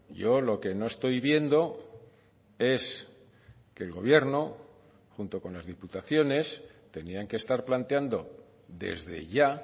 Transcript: yo lo que no estoy viendo es que el gobierno junto con las diputaciones tenían que estar planteando desde ya